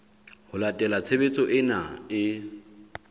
ho latela tshebetso ena e